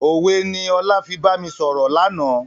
Òwe ni ọlá fi bami sọ̀rọ̀ lànà.